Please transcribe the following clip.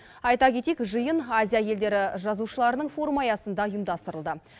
айта кетейік жиын азия елдері жазушыларының форумы аясында ұйымдастырылды